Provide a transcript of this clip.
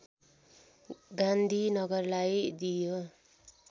गान्धीनगरलाई दिइयो